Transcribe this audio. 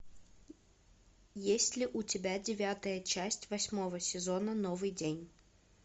есть ли у тебя девятая часть восьмого сезона новый день